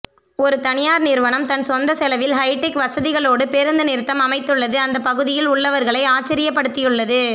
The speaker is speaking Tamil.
ஒரு தனியார் நிறுவனம் தன் சொந்த செலவில் ஹைடெக் வசதிகளோடு பேருந்து நிறுத்தம் அமைத்துள்ளது அந்த பகுதியில் உள்ளவர்களை ஆச்சரியப்படுத்தியுள்ளது